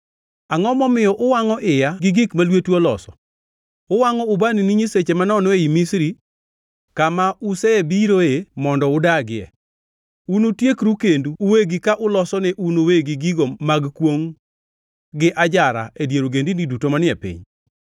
Angʼo momiyo uwangʼo iya gi gik ma lwetu oloso, uwangʼo ubani ne nyiseche manono ei Misri, kama osebiroe mondo udagie? Unutiekru kendu uwegi ka uloso ne un uwegi gigo mag kwongʼ gi ajara e dier ogendini duto manie piny.